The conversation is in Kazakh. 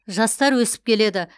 жастар өсіп келеді